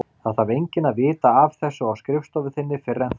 Það þarf enginn að vita af þessu á skrifstofu þinni fyrr en þá.